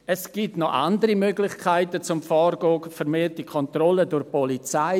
Es gibt noch andere Möglichkeiten vorzugehen: vermehrte Kontrollen durch die Polizei.